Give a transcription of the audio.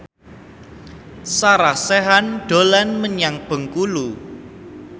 Sarah Sechan dolan menyang Bengkulu